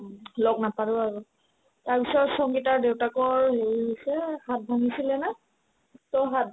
লগ নাপালো আৰু তাৰপিছত সংগীতাৰ দেউতাকৰ হেৰি হৈছে হাত ভাঙিছিলে না to হাত